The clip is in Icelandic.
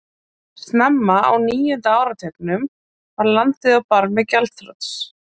Snemma á níunda áratugnum var landið á barmi gjaldþrots.